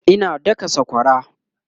Ina daka sakwara